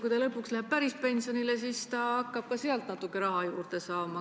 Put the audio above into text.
Kui ta lõpuks päriselt pensionile jääb, siis hakkab ta ka sealt natuke raha juurde saama.